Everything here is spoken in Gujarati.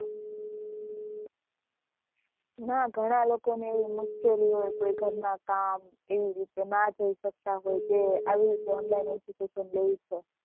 ના ઘણા લોકો ને એવી મુશ્કેલી હોય કોઈ ઘર ના કામ એવી રીતે ના જઈ શકતા હોય તે આવી રીતે online education લે જ છે